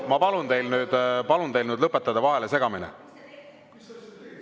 Ma palun teil nüüd lõpetada vahelesegamine!